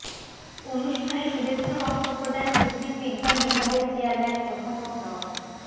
অনুষ্ঠানে শুভেচ্ছা বক্তব্য দেন উদ্ভিদবিজ্ঞান বিভাগের চেয়ারম্যান অধ্যাপক ড